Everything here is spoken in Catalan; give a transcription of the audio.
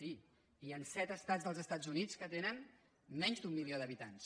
sí hi han set estats dels estats units que tenen menys d’un milió d’habitants